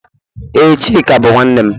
Ee, Chika bụ nwanne m